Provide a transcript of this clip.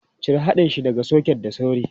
Cire haɗin shi daga soket da sauri!